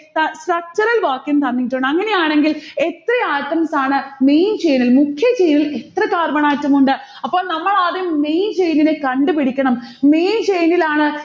ഏർ structural വാക്യം തന്നിട്ടുണ്ട് അങ്ങനെയാണെങ്കിൽ എത്ര atoms ആണ് main chain ൽ, മുഖ്യ chain ഇൽ എത്ര carbon atom ഉണ്ട്? അപ്പോൾ നമ്മളാദ്യം main chain ഇനെ കണ്ടുപിടിക്കണം. main chain ഇലാണ്